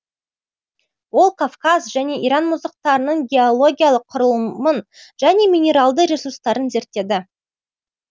ол кавказ және иран мұздақтарының геологиялық құрылымын және минералды ресурстарын зерттеді